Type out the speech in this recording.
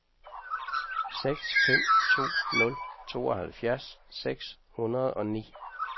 seks fem to nul tooghalvfjerds seks hundrede og ni